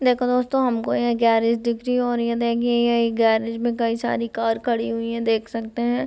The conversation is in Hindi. देखो दोस्तों हमको ये गेरैज दिख रही है और ये देखिये ये गेरैज में कई सारी कार खड़ी हुई है देख सकते हैं ।